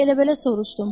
Elə-belə soruşdum.